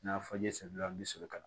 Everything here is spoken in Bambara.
N'a fɔ n ye sɛbila n bɛ sɔrɔ ka na